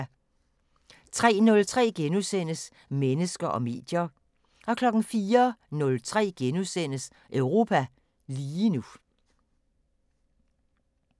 03:03: Mennesker og medier * 04:03: Europa lige nu *